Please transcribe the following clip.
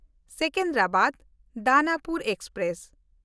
ᱥᱮᱠᱮᱱᱫᱨᱟᱵᱟᱫ–ᱫᱟᱱᱟᱯᱩᱨ express